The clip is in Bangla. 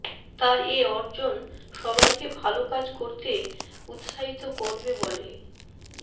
তার এ অর্জন সবাইকে ভালো কাজ করতে উৎসাহিত করবে বলে